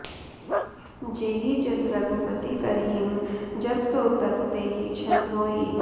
जेहि जस रघुपति करहिं जब सो तस तेहि छन होइ